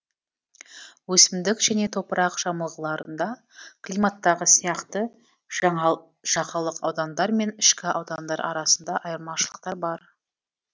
өсімдік және топырақ жамылғыларында климаттағы сияқты жағалық аудандар мен ішкі аудандар арасында айырмашылықтар бар